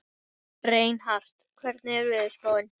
Reinhart, hvernig er veðurspáin?